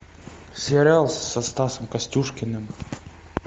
сериал со стасом костюшкиным